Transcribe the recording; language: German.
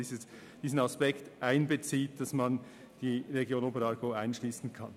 Die Region Oberaargau soll in die Planung eingeschlossen werden.